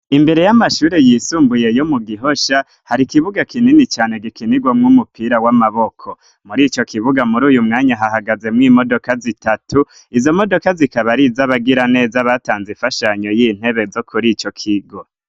Imbere y'amashuri yisumbuye yo mu Gihosha, har'ikibuga kinini cane gikinigwa mw'umupira w'amaboko muri ico kibuga muri uyu mwanya hahagaze mu imodoka zitatu izo modoka zikaba ari z'abagiraneza batanze infashanyo y'intebe zo kur' ico kigo